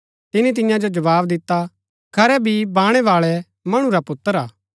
तिनी तियां जो जवाव दिता खरै बी बाणैबाळा मणु रा पुत्र हा